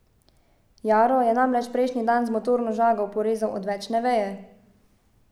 Jaro je namreč prejšnji dan z motorno žago porezal odvečne veje.